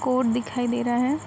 Court दिखाई दे रहा है।